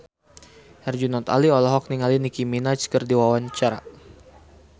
Herjunot Ali olohok ningali Nicky Minaj keur diwawancara